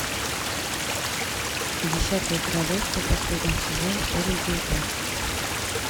десятое королевство последний сезон серия девятнадцать